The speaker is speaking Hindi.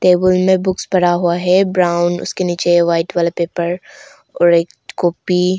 टेबुल में बुक्स पड़ा हुआ है ब्राउन उसके नीचे वाइट वाला पेपर और एक कॉपी --